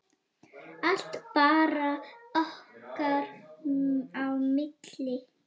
Allt bara okkar á milli.